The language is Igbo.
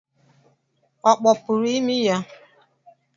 Ọ kpọpuru imi ya?